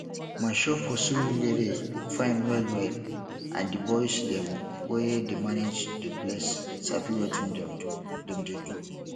my shop for surulere fine wellwell and di boys dem wey dey manage de place sabi wetin dem dey do